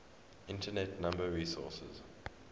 internet number resources